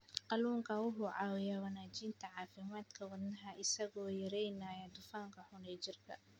Kalluunku wuxuu caawiyaa wanaajinta caafimaadka wadnaha isagoo yareynaya dufanka xun ee jirka.